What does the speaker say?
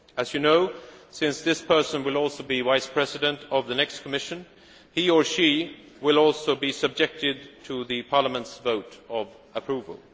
As you know, since this person will also be Vice President of the next Commission, he or she will also be subject to the Parliament's vote of approval.